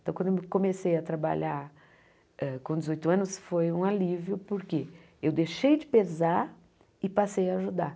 Então, quando eu comecei a trabalhar hã com dezoito anos, foi um alívio, porque eu deixei de pesar e passei a ajudar.